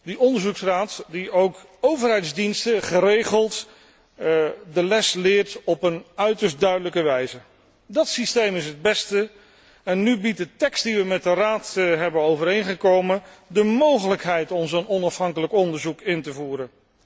Die onderzoeksraad leest ook overheidsdiensten geregeld de les op een uiterst duidelijke wijze. Dat systeem is het beste en nu biedt de tekst die wij met de Raad zijn overeengekomen de mogelijkheid om een dergelijk onafhankelijk onderzoek in te voeren.